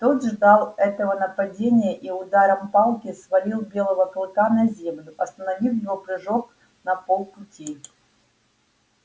тот ждал этого нападения и ударом палки свалил белого клыка на землю остановив его прыжок на полпути